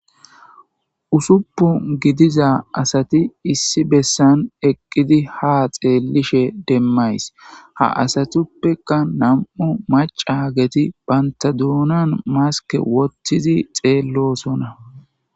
usuppu gidiza asati issi bessan eqqidi ha xeelishe demmays ha asatuppeka nam7u macageti bantadoonan maske wottizi xeellosona